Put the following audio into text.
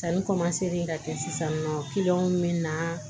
Sanni ka kɛ sisan nɔ min bɛ na